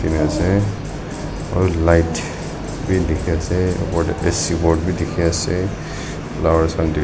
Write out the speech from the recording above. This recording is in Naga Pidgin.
ase aru light bi dikhi ase opor deh ac board bi dikhi ase flowers khan tu.